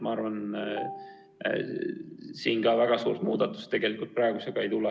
Ma arvan, et siin väga suurt muudatust tegelikult ei tule.